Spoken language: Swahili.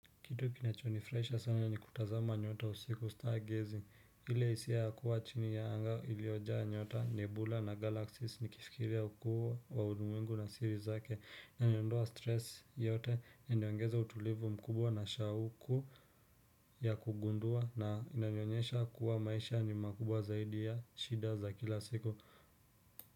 Kitu kinachonifurahisha sana ni kutazama nyota usiku stargazing hile hisia ya kuwa chini ya anga iliojaa nyota nebula na galaxies nikifikiria hukuu wa ulimwengu na siri zake huniondoa stress yote inaongeza utulivu mkubwa na shauku ya kugundua na inanyonyesha kuwa maisha ni makubwa zaidi ya shida za kila siku.